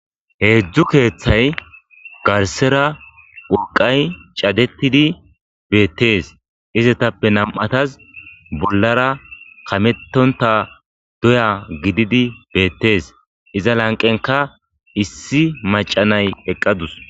Heedzdzu keeththay garsera urqay cadettidi beettees izetappe nam'ataz bollara kamettonta doya gididi beettees iza lanqenka issi macanay eqqadus.